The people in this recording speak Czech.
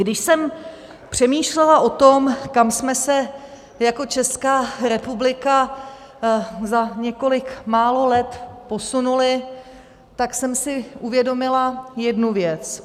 Když jsem přemýšlela o tom, kam jsme se jako Česká republika za několik málo let posunuli, tak jsem si uvědomila jednu věc.